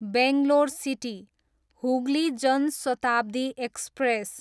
Bangalore city, Hooghly Jan Shatabdi express